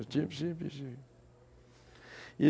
Eu tive, tive, tive.